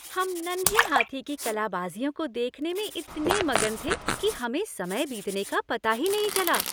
हम नन्हें हाथी की कलाबाजियों को देखने में इतने मगन थे कि हमें समय बीतने का पता ही नहीं चला।